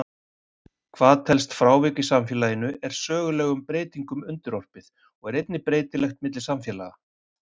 Hvað telst frávik í samfélaginu er sögulegum breytingum undirorpið og er einnig breytilegt milli samfélaga.